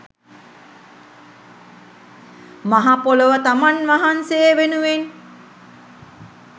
මහ පොළොව තමන් වහන්සේ වෙනුවෙන්